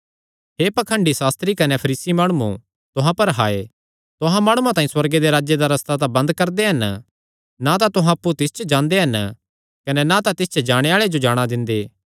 हे पाखंडी सास्त्री कने फरीसी माणुओ तुहां पर हाय तुहां माणुआं तांई सुअर्गे दे राज्जे दा रस्ता बंद करदे हन ना तां तुहां अप्पु तिस च जांदे हन कने ना तिस च जाणे आल़ेआं जो जाणा दिंदे